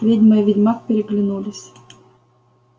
ведьма и ведьмак переглянулись